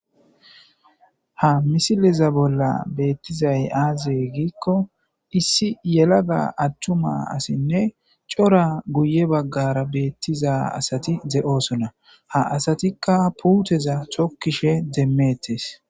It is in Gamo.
ha misileza bolla beettizay aaze giikko issi yelaga attuma asinne cora guye baggara beettiza asati ze7oosona ha asatikka puuteza chokkishe demmettes